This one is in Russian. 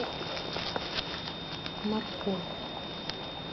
морковь